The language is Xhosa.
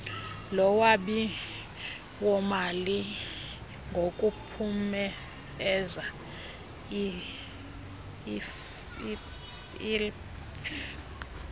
lolwabiwomali lokuphumeza inlpf